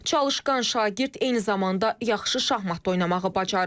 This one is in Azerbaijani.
Çalışqan şagird eyni zamanda yaxşı şahmat da oynamağı bacarır.